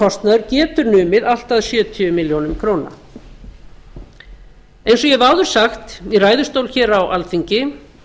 biðlaunakostnaður getur numið allt að sjötíu milljónum króna eins og ég hef áður sagt í ræðustól á alþingi